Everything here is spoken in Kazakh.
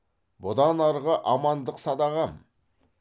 бұдан арғы амандық садағам